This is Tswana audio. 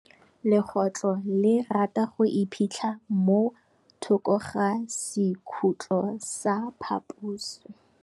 Legôtlô le rata go iphitlha mo thokô ga sekhutlo sa phaposi.